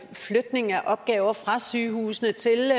flytning af opgaver fra sygehusene til